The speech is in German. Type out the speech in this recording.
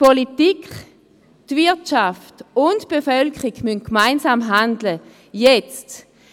Die Politik, die Wirtschaft und die Bevölkerung müssen gemeinsam handeln, und zwar jetzt.